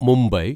Mumbai